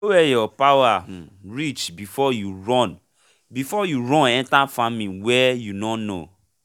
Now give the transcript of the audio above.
know where your power um reach before you run before you run enter faming wey you nor know